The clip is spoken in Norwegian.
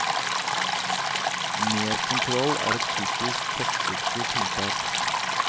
Mer kontroll er et typisk kortsiktig tiltak.